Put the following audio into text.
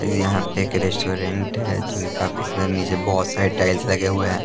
यहाँ पे एक रेस्टोरेंट है जो कि काफी स नीचे बहुत सारे टाइल्स लगे हुए हैं ।